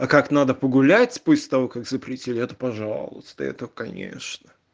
а как надо погулять после того как запретили это пожалуйста это конечно